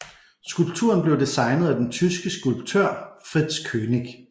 Skulpturen blev designet af den tyske skulptør Fritz Koenig